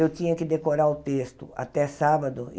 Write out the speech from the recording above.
Eu tinha que decorar o texto até sábado.